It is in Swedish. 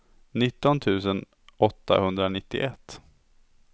nitton tusen åttahundranittioett